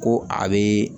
Ko a be